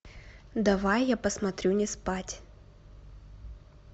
давай я посмотрю не спать